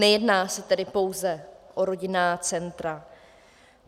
Nejedná se tedy pouze o rodinná centra.